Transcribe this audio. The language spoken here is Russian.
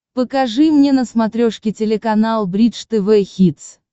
покажи мне на смотрешке телеканал бридж тв хитс